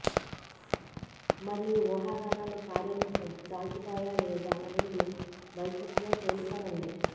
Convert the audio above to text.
మరి ఈ ఊహాగానాలు కార్యరూపం దాల్చుతాయా లేదా అనేది భవిష్యత్తులో తేలిపోనుంది